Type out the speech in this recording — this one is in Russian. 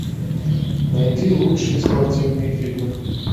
найди лучшие спортивные фильмы